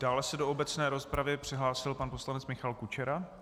Dále se do obecné rozpravy přihlásil pan poslanec Michal Kučera.